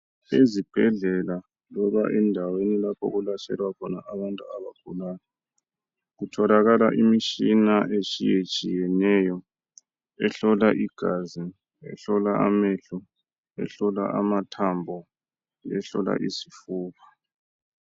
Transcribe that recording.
Ezibhedlela loba endaweni lapho okulatshelwa khona abantu abagulayo kutholakala imitshina etshiyetshiyeneyo ehlola igazi ehlola amehlo ehlola amathambo lehlola izifuba